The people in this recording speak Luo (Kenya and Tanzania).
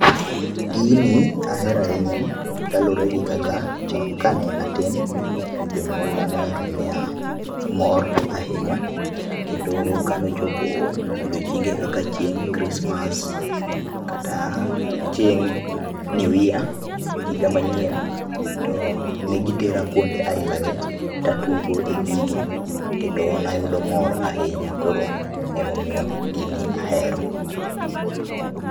Gini ahero ahinya kalure gi kaka chon kane atin, jonyuolna nohero miya mor ahinya, kendo kanochopo odiochienge kaka chieng' kristmas, kata chieng' new year higa manyien, to negitera kuonde ailagi tatugo e gigi kendo nayudo mor ahinya, koro emomiyo gini ahero.